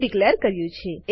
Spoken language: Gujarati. ડીકલેર કર્યું છે